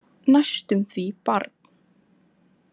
Næstum því barn.